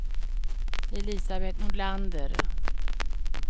Elisabeth Nordlander